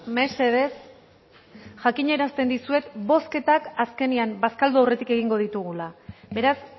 mesedez jakinarazten dizuet bozketak azkenean bazkaldu aurretik egingo ditugula beraz